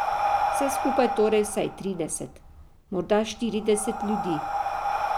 Vse skupaj torej vsaj trideset, morda štirideset ljudi.